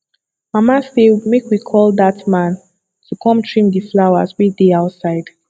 mama say make we call dat man to come trim the flowers wey dey outside